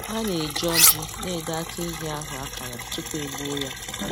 Ha na-eji ọjị na edo aka ehi ahụ akara tupu e gbuo ya